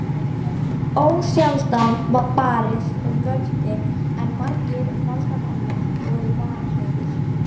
Ósjaldan var barist um völdin en margir valdamanna voru vanhæfir.